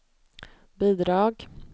bidrag